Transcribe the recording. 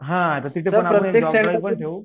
हा तिथेपण आपण एक जॉब ड्राईव्हपण ठेऊ